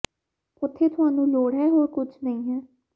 ਉੱਥੇ ਤੁਹਾਨੂੰ ਲੋੜ ਹੈ ਹੋਰ ਕੁਝ ਨਹੀ ਹੈ ਹੈ